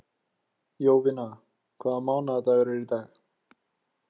Jovina, hvaða mánaðardagur er í dag?